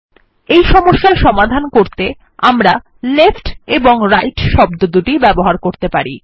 এই সম্যস্যার সমাধান করতে আমরা লেফ্ট এবং রাইট শব্দ দুটি ব্যবহার করতে পারি